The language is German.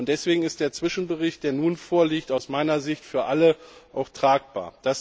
Und deswegen ist der Zwischenbericht, der nun vorliegt, aus meiner Sicht für alle auch tragbar.